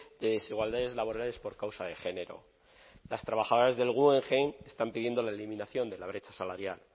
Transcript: de desigualdades laborales por causa de género las trabajadoras del guggenheim están pidiendo la eliminación de la brecha salarial